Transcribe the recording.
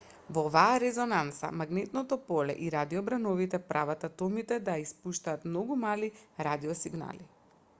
во оваа резонанца магнетното поле и радиобрановите прават атомите да испуштаат многу мали радиосигнали